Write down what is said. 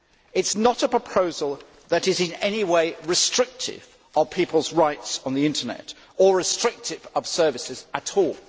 It is not a proposal that is any way restrictive of people's rights on the Internet or restrictive of services at